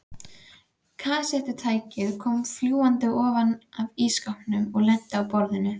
Kassettutækið kom fljúgandi ofan af ísskápnum og lenti á borðinu.